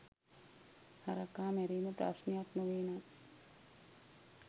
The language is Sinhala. හරකා මැරීම ප්‍රශ්නයක් නොවේනම්